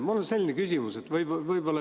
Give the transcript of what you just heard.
Mul on selline küsimus.